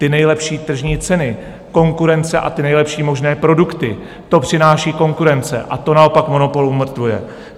Ty nejlepší tržní ceny, konkurence a ty nejlepší možné produkty, to přináší konkurence a to naopak monopol umrtvuje.